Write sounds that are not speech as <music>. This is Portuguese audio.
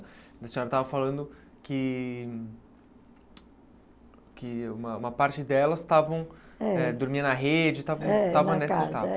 A senhora estava falando que que uma uma parte delas estavam eh dormia na rede, <unintelligible>